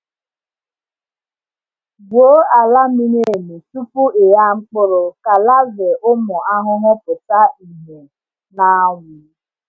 Gwuo ala miri emi tupu ịgha mkpụrụ ka larvae ụmụ ahụhụ pụta ìhè n’anwụ.